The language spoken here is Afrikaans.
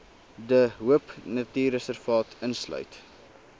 de hoopnatuurreservaat insluit